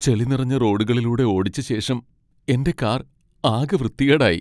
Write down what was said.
ചെളി നിറഞ്ഞ റോഡുകളിലൂടെ ഓടിച്ചശേഷം എന്റെ കാർ ആകെ വൃത്തികേടായി.